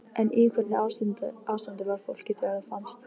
En í hvernig ástandi var fólkið þegar það fannst?